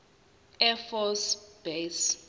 air force base